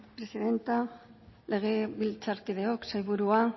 presidente legebiltzarkideok sailburua